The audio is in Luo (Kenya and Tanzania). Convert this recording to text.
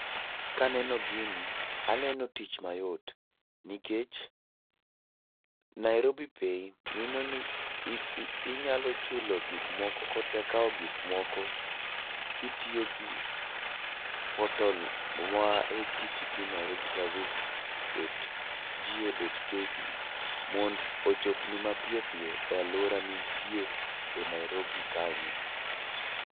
Kaneno gini, aneno tich mayot nikech Nairobi Pay mino ni i i inyalo chulo gik moko kota kaw gik moko kitiyo gi portal ma http dot nairobiservice dot go dot ke mond ochopni mapiyo piyo e alwora ma intie e Nairobi kanyo